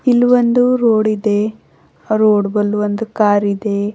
ಇಲ್ ಒಂದು ರೋಡ್ ಇದೆ ಆ ರೋಡ್ ಬಲ್ ಒಂದು ಕಾರಿದೆ.